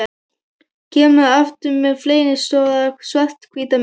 Kemur aftur með flennistóra, svarthvíta mynd.